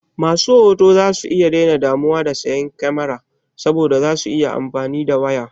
Masu hoto zasu daina damuwa da sayan kamara saboda za su iya amfani da waya.